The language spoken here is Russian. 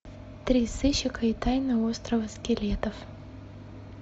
три сыщика и тайна острова скелетов